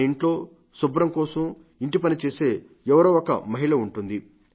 మన ఇంట్లో శుభ్రంగా ఇంటిపని చేసే ఎవరో ఒక మహిళ ఉంటుంది